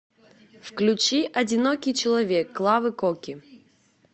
включи одинокий человек клавы коки